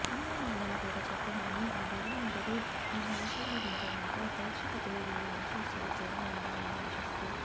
అమ్మా నాన్నల కథ చెప్పమని ఆ భగవంతుడు నన్ను ఆశీర్వదించడంతో ప్రేక్షకదేవుళ్ల ఆశీస్సులు కూడా ఉండాలని ఆశిస్తూ